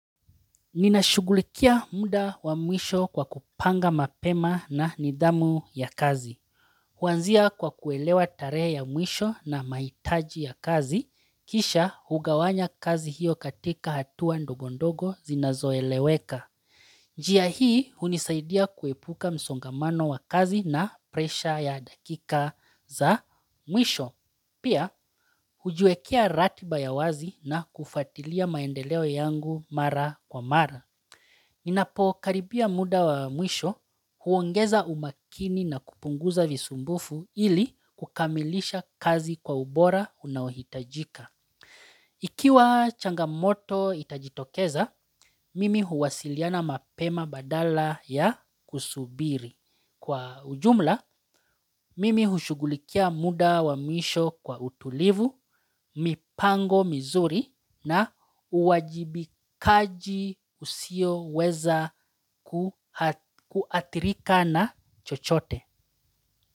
Ninashugulikia muda wa mwisho kwa kupanga mapema na nidhamu ya kazi. Huanzia kwa kuelewa tarehe ya mwisho na mahitaji ya kazi, kisha hugawanya kazi hiyo katika hatua ndogondogo zinazoeleweka. Njia hii unisaidia kuepuka msongamano wa kazi na presha ya dakika za mwisho. Pia hujiekia ratiba ya wazi na kufatilia maendeleo yangu mara kwa mara. Ninapo karibia muda wa mwisho huongeza umakini na kupunguza visumbufu ili kukamilisha kazi kwa ubora unaohitajika. Ikiwa changamoto itajitokeza, mimi huwasiliana mapema badala ya kusubiri. Kwa ujumla, mimi hushugulikia muda wa misho kwa utulivu, mipango mizuri na uwajibikaji usioweza kuathirika na chochote.